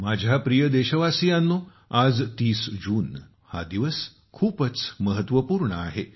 माझ्या प्रिय देशवासियांनो आज 30 जून हा दिवस खूपच महत्वपूर्ण आहे